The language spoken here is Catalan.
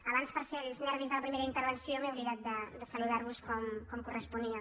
abans pels nervis de la primera intervenció m’he oblidat de saludar vos com corresponia